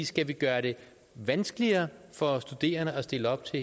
skal vi gøre det vanskeligere for studerende at stille op til